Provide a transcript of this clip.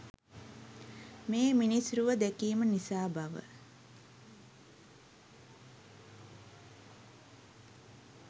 මේ මිනිස් රුව දැකීම නිසා බව